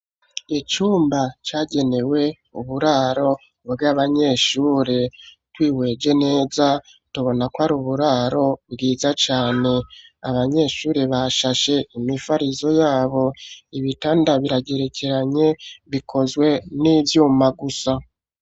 Icumba cagenewe uburaro bw'abanyeshuri. Twihweje neza tubonako ari uburaro bwiza cane. Abanyeshuri bashashe imifarizo y'abo, ibitanda biragerekeranye bikozwe n'ivyuma gusa.